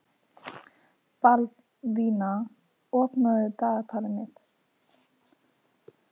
Baldvina, opnaðu dagatalið mitt.